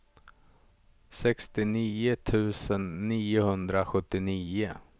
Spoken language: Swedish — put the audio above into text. sextionio tusen niohundrasjuttionio